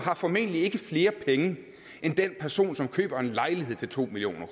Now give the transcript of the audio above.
har formentlig ikke flere penge end den person som køber en lejlighed til to million